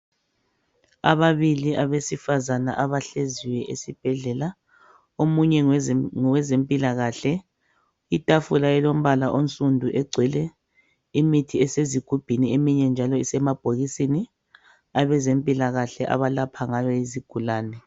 Ababili abesifazana abahleziyo esibhedlela, omunye ngoweze ngowezempilakahle. Itafula ilombala onsundu egcwele imithi esezigubhini, eminye njalo isemabhokisini. Abezempilakahle abalapha ngayo izigulane.